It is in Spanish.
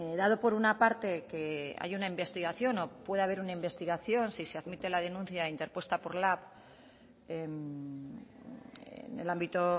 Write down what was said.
dado por una parte que hay una investigación o puede haber una investigación si se admite la denuncia interpuesta por lab en el ámbito